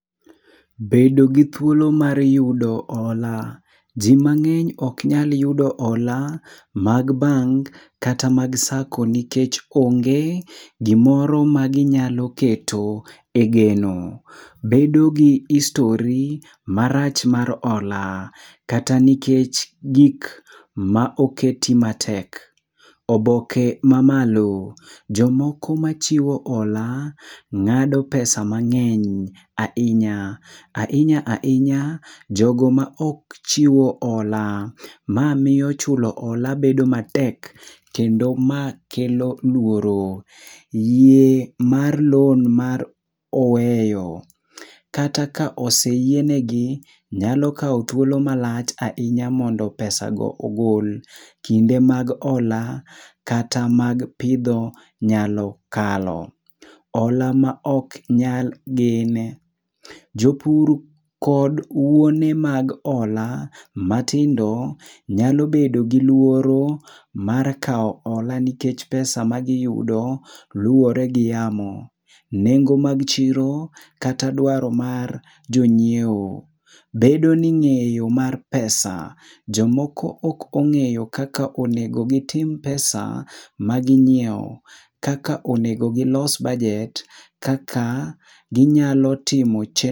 Bedo gi thuolo mar yudo hola. Ji mang'eny ok nyal yudo hola mag bank kata mag sacco nikech nikech onge gimoro maginyalo keto e geno. Bedo gi history marach mar hola. Kata nikech gik ma oketi matek. Oboke mamalo. Jomoko machiwo hola ng'ado pesa mang'eny ahinya. Ahinya ahinya, jogo maok chiwo hola. Ma miyo chulo hola bedo matek kendo ma kelo luoro. Yie mar loan mar oweyo. Kata ka oseyienegi, nyalo kawo thuolo malach ahinya mondo pesa go ogol. Kinde mag hola kata mag pidho nyalo kalo. Hola maok nyal gen. Jopur kod wuone mag hola matindo nyalo bedo gi luoro mar kawo hola nikech pesa magiyudo luwore gi yamo. Nengo mag chiro kata dwaro ma jonyiewo. Bedo ni ng'eyo mar pesa. Jomoko ok ong'eyo kaka onego gitim pesa maginyiewo, kaka onego gilos bajet, kaka ginyalo timo che...